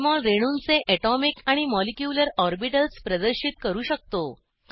Jmol रेणूंचे atomic आणि molecular orbitals प्रदर्शित करू शकतो